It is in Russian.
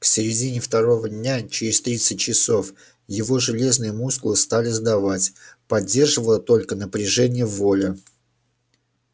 к середине второго дня через тридцать часов его железные мускулы стали сдавать поддерживало только напряжение воли